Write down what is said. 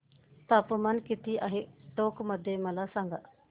तापमान किती आहे टोंक मध्ये मला सांगा